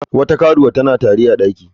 Wata karuwa tana tari a daki.